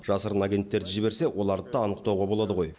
жасырын агенттерді жіберсе оларды да анықтауға болады ғой